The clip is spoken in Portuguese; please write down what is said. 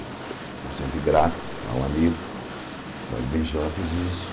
Eu sempre grato ao amigo Jorge Ben jor fez isso.